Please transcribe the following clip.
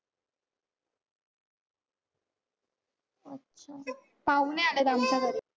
अच्छा. पाहुणे आलेत आमच्या घरी.